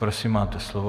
Prosím máte slovo.